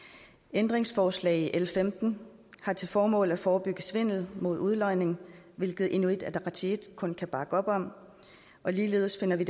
ændringsforslag i l femten har til formål at forebygge svindel mod udlodning hvilket inuit ataqatigiit kun kan bakke op om ligeledes finder vi